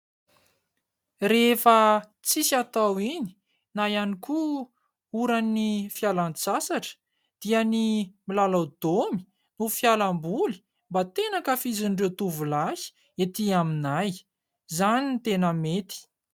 Rehefa tsisy atao iny; na ihany koa oran'ny fialantsasatra, dia ny milalao daomy no fialamboly mba tena anka fizin'ireo tovolahy ety aminay ,izany ny tena mety.